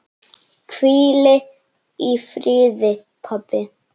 Hvíl í friði, pabbi.